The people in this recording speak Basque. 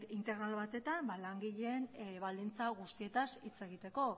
gai integral batetan langileen baldintza guztietaz hitz egiteko